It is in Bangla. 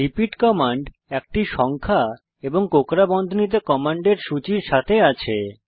রিপিট কমান্ড একটি সংখ্যা এবং কোঁকড়া বন্ধনীতে কমান্ডের সুচির সাথে আছে